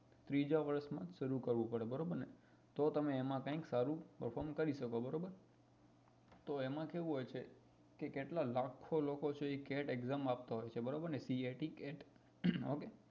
ત્રીજા વર્ષ માં શરુ કરવું પડે બરોબર ને તો તમે એમાં કઈક સારું perform કરી શકો બરોબર તો એમાં કેવું હોય છે કેટલા લાખો લોકો છે એ cat exam આપતા હોય છે બરાબર ને cat okay